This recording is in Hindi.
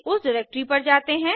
उस डिरेक्टरी पर जाते हैं